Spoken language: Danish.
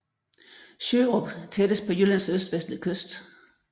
Sjørup tættest på Jyllands østvendte kyst